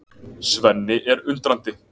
Svenni er undrandi.